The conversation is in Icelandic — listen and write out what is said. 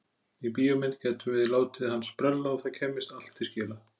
Í bíómynd gætum við látið hann sprella og það kæmist allt til skila.